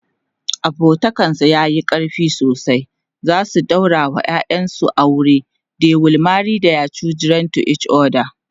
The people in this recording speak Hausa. abokantakan su yayi ƙarfi sosai zasu daura wa ƴaƴan su aure ,they will marry thier children to each other